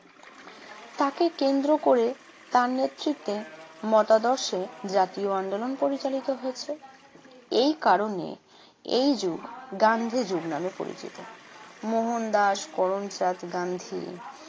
তাকে কেন্দ্র করে তার নেতৃত্বে মতাদর্শে জাতীয় আন্দোলন পরিচালিত হয়েছে। এই কারণে এই যুগ গান্ধী যুগ নাম পরিচিত। মোহনদাস করমচাঁদ গান্ধী